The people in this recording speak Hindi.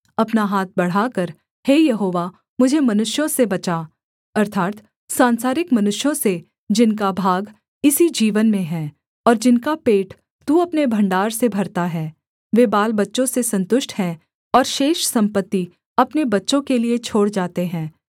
अपना हाथ बढ़ाकर हे यहोवा मुझे मनुष्यों से बचा अर्थात् सांसारिक मनुष्यों से जिनका भाग इसी जीवन में है और जिनका पेट तू अपने भण्डार से भरता है वे बालबच्चों से सन्तुष्ट हैं और शेष सम्पत्ति अपने बच्चों के लिये छोड़ जाते हैं